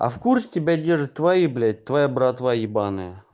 а в курсе тебя держит твои блять твоя братва ебаная